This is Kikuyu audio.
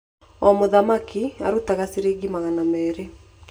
O mũthaki araruta ciringi magana meerĩ.